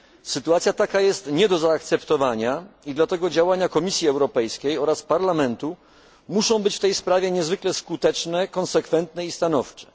Sytuacja taka jest nie do zaakceptowania i dlatego działania Komisji Europejskiej oraz Parlamentu muszą być w tej kwestii niezwykle skuteczne, konsekwentne i stanowcze.